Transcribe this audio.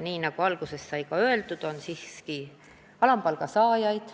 Nagu alguses sai öeldud, alampalga saajaid,